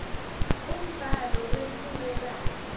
umbhalo wetfulwe kahle